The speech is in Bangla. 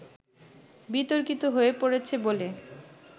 বিতর্কিত হয়ে পড়েছে বলে